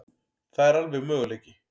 Það er alveg möguleiki.